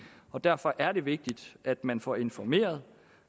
derfor er det vigtigt at man får informeret